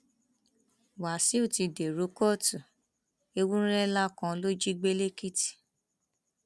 wàsíù ti dèrò kóòtù ewúrẹ ńlá kan ló jí gbé lẹkìtì